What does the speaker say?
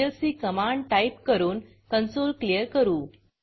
CLC command type करून consoleकॉन्सोल clear करू